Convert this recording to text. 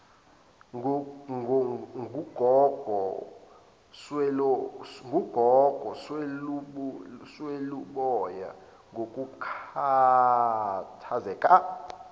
ngugogo sweluboya ngokukhathazeka